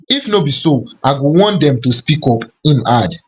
if no be so i go want dem to speak up im add